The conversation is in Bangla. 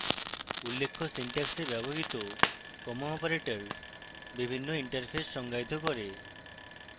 উল্লেখ্য syntax ব্যবহৃত comma operator বিভিন্ন interfaces সনাক্ত করে